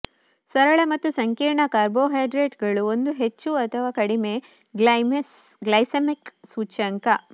ಸರಳ ಮತ್ತು ಸಂಕೀರ್ಣ ಕಾರ್ಬೋಹೈಡ್ರೇಟ್ಗಳು ಒಂದು ಹೆಚ್ಚು ಅಥವಾ ಕಡಿಮೆ ಗ್ಲೈಸೆಮಿಕ್ ಸೂಚ್ಯಂಕ